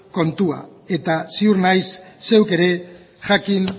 kontua eta ziur naiz zeuk ere jakin